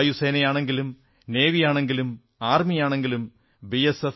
വായുസേനയാണെങ്കിലും നാവികസേനയാണെങ്കിലും കരസേനയാണെങ്കിലും ബി